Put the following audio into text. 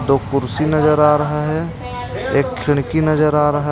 दो कुर्सी नजर आ रहा है एक खिड़की नजर आ रहा --